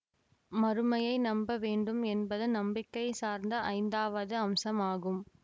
மறுமையை நம்ப வேண்டும் என்பது நம்பிக்கை சார்ந்த ஐந்தாவது அம்சமாகும்